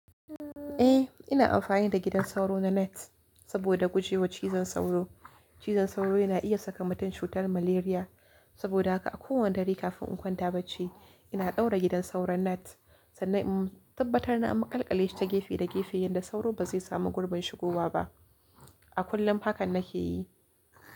Eh ina amfani da gidan sauro na net saboda guje wa cizon sauro. Cizon sauro yana iya saka mutum cutar malaria. Saboda haka a kowane dare kafin in kwanta bacci ina ɗaura gidan sauro net sannan in tabbatar na maƙalƙale shi ta gefe da gefe yanda sauro ba zai samu gurbin shigowa ba. A kullum haka na ke yi.